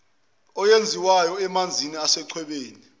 eyenziwayo emanzini asechwebeni